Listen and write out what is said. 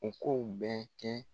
U kow bɛ kɛ